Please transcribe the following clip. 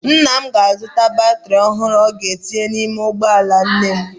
Nna m ga-azụta batrị ọhụrụ ọ ga-etinye n'ime ụgbọala nne m.